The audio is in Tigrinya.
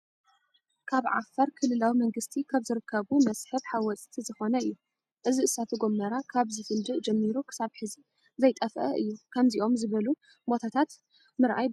ካብ ዓፋር ክልላዊ መንግስቲ ካብ ዝርከቡ መስሕብ ሓወፅቲ ዝኾነ እዩ። እዚ እሳተ ጎመራ ካብ ዝፍንድእ ጀሚሩ ክሳብ ሕዚ ዘይጠፍኣ እዩ። ከምዞኦም ዝበሉ ቦታታት ምንኣይ ብጣዕሚ እዩ ዘፅልኣኒ።